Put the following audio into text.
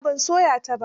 A'a ban soya ta ba.